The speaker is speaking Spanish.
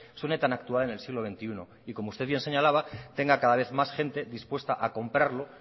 suene tan actual en el siglo veintiuno y como usted bien señalaba tenga cada vez más gente dispuesta a comprarlo